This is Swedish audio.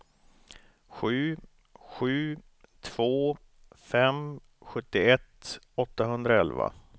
sju sju två fem sjuttioett åttahundraelva